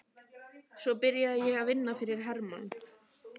Svo byrjaði ég að vinna fyrir Hermann